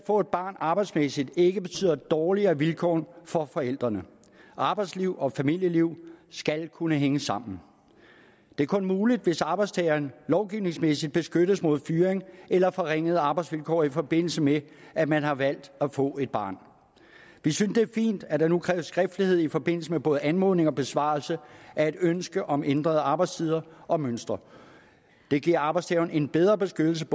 få et barn arbejdsmæssigt ikke betyder dårligere vilkår for forældrene arbejdsliv og familieliv skal kunne hænge sammen det er kun muligt hvis arbejdstageren lovgivningsmæssigt beskyttes mod fyring eller forringede arbejdsvilkår i forbindelse med at man har valgt at få et barn vi synes det er fint at der nu kræves skriftlighed i forbindelse med både anmodning og besvarelse af et ønske om ændrede arbejdstider og mønstre det giver arbejdstageren en bedre beskyttelse